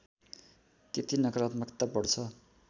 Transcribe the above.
त्यति नकरात्मकता बढ्छ